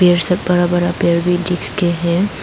ये सब बड़ा बड़ा पेड़ भी दिख के हैं।